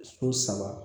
So saba